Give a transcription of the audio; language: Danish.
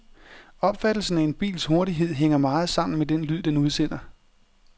Opfattelsen af en bils hurtighed hænger meget sammen med den lyd, den udsender.